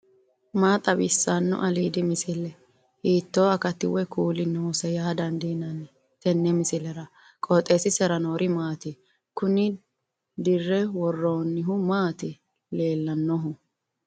maa xawissanno aliidi misile ? hiitto akati woy kuuli noose yaa dandiinanni tenne misilera? qooxeessisera noori maati ? kuni dirre worroonnihu mati leellannohu